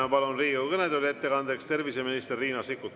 Ma palun ettekandeks Riigikogu kõnetooli terviseminister Riina Sikkuti.